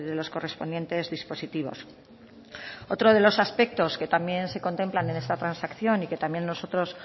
los correspondientes dispositivos otro de los aspectos que también se contemplan en esa transacción y que también nosotros